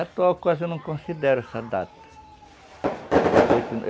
coisa eu não considero essa data